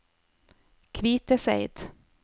Kviteseid